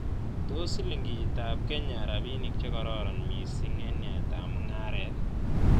Tos' silingitap kenya rabinik chegororon misiing' eng' yaetap mung'aret